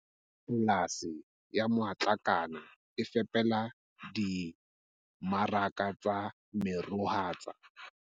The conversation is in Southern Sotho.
Polasi ya Matlakane e fepela dimmaraka tsa meroho tsa.